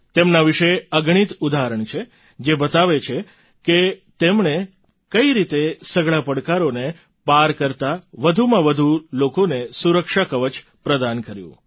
તેમના વિશે અગણિત ઉદાહરણ છે જે બતાવે છે કે તેમણે કઈ રીતે સઘળા પડકારોને પાર કરતા વધુમાં વધુ લોકોને સુરક્ષા કવચ પ્રદાન કર્યું